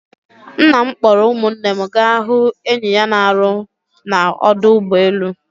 Nna m kpọrọ ụmụnne m gaa hụ enyi ya na-arụ na ọdụ ụgbọ elu.